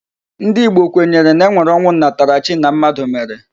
Ndị Igbo kwenyere na e nwere ọnwụ nnataarchi na mmadụ mere.